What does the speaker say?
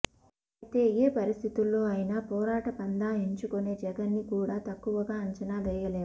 అయితే ఏ పరిస్థితుల్లో అయినా పోరాట పంధా ఎంచుకొనే జగన్ ని కూడా తక్కువగా అంచనా వేయలేము